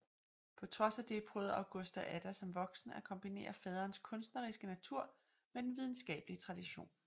På trods af det prøvede Augusta Ada som voksen at kombinere faderens kunstneriske natur med den videnskabelige tradition